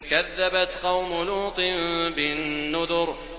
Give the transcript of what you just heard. كَذَّبَتْ قَوْمُ لُوطٍ بِالنُّذُرِ